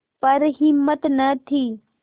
पर हिम्मत न थी